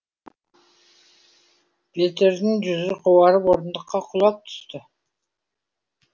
петердің жүзі қуарып орындыққа құлап түсті